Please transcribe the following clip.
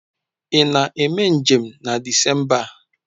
Ị na-eme njem na Disemba a?